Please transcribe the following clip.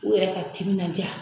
U yɛrɛ ka timinan diya